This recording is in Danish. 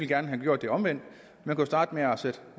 gerne have gjort det omvendt man kunne starte med